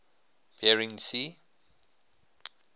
bering sea